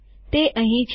તે અહીં છે